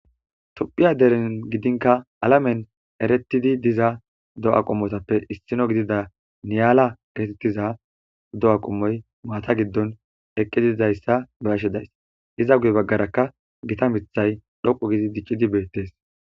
Tophiyani gidin kare deren gidin ereti diza do'a qomoppe issiniya niyala Giza do'a qommo maata gidon eqqidi dizzysa beyashe daysi iza guye bagaraka gimithay dhoqu gidic'idi Bette's.